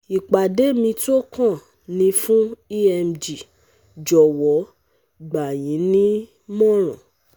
Ìpàdé mi tó kàn ni fún EMG Jọ̀wọ́ gbà yín nímọ̀ràn